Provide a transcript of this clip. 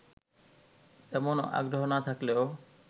তেমন আগ্রহ না থাকলেও